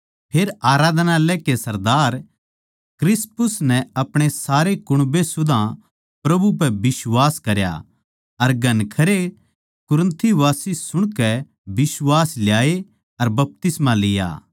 फेर आराधनालय के सरदार क्रिस्पुस नै अपणे सारे कुण्बे सुदा प्रभु पै बिश्वास करया अर घणखरे कुरिन्थवासी सुणकै बिश्वास लाये अर बपतिस्मा लिया